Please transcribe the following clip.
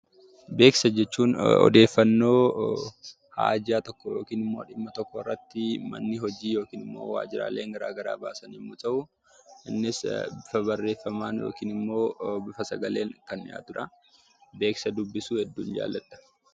Beeksisa jechuun odeeffannoo haajaa tokko (dhimma tokko) irratti manni hojii (waajjiraaleen garaagaraa) baasan yommuu ta'u, innis bifa barreeffamaan yookiin immoo bifa sagaleen kan dhiyaatu dha. Beeksisa dubbisuu hedduun jaalladha.